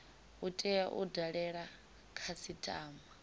u tea u dalela khasitama